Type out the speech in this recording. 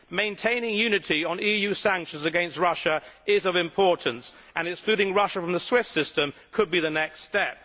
Maintaining unity on EU sanctions against Russia is of importance and excluding Russia from the SWIFT system could be the next step.